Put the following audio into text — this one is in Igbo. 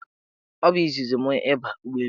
Ọ bụ izizi mụ ịba ụgbọelu.